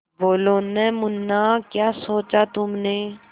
बोलो न मुन्ना क्या सोचा तुमने